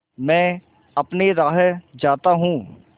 मैं अपनी राह जाता हूँ